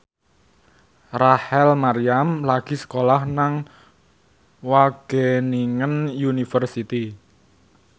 Rachel Maryam lagi sekolah nang Wageningen University